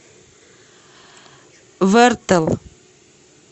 вэртэл